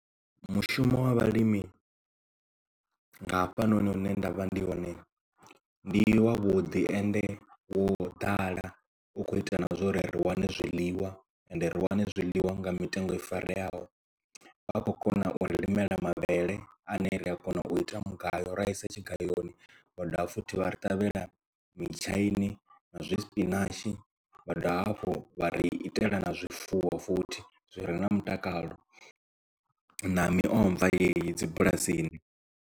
Mushumo wa vhalimi nga hafhanoni hune nda vha ndi hone ndi wa vhuḓi ende wo ḓala u kho ita na zwa uri ri wane zwiḽiwa ende ri wane zwiḽiwa nga mitengo i fareaho vha kho kona u ri limela mavhele ane ri a kona u ita mugayo ra isa tshigayoni vha dovha futhi vha ri ṱavhela mitshaini na zwi spinach vha dovha hafhu vha ri itela na zwifuwo futhi zwi re na mutakalo na miomva yeneyi dzi bulasini.